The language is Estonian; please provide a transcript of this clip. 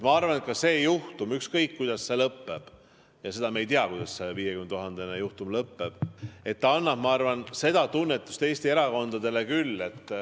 Ma arvan, et ka see juhtum, ükskõik, kuidas see lõpeb – seda me ei tea, kuidas see 50 000 juhtum lõpeb –, annab seda tunnetust Eesti erakondadele küll.